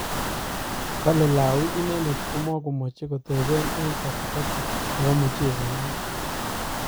Kole Lawi inendet komakomachei kotepe eng katikati nepo mucheset natoka.